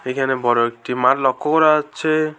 এখানে বড় একটি মাল লক্ষ্য করা যাচ্ছে।